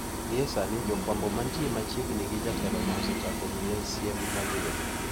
Gie sani jofwambo mantie machiegni gi jatelono osechako miye siem mager.